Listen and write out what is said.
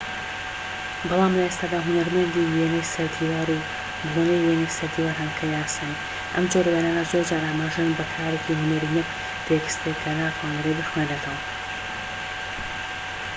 بەڵام لە ئێستادا هونەرمەندی وێنەی سەردیوار و بۆنەی وینەی سەردیوار هەن کە یاسایین ئەم جۆرە وێنانە زۆرجار ئاماژەن بە کارێکی هونەری نەک تێکستێک کە ناتواندرێ بخوێندرێتەوە